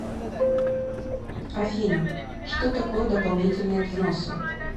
афина что такое дополнительные взносы